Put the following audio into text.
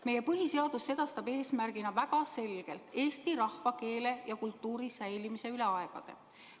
Meie põhiseadus sedastab eesmärgina väga selgelt eesti rahva, keele ja kultuuri säilimise üle aegade.